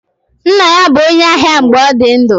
Nna ya bụ onye ahịa mgbe ọ dị ndụ.